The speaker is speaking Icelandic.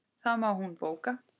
Það má hún bóka.